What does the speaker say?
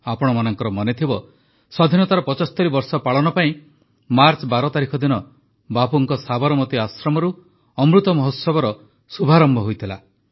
ଆପଣମାନଙ୍କର ମନେଥିବ ସ୍ୱାଧୀନତାର ୭୫ ବର୍ଷ ପାଳନ ପାଇଁ ମାର୍ଚ୍ଚ ୧୨ ତାରିଖ ଦିନ ବାପୁଙ୍କ ସାବରମତୀ ଆଶ୍ରମରୁ ଅମୃତ ମହୋତ୍ସବର ଶୁଭାରମ୍ଭ ହୋଇଥିଲା